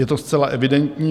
Je to zcela evidentní.